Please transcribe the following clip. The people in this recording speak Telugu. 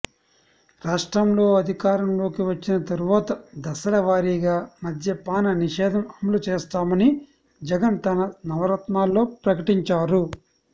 రాష్ట్రంలో అధికారంలోకి వచ్చిన తరువాత దశల వారీగా మద్యపాన నిషేధం అమలు చేస్తామని జగన్ తన నవరత్నాల్లో ప్రకటించారు